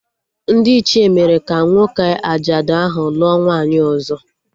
Ndị Ichie mere ka nwoke ajadu ahụ lụọ nwaanyị ọzọ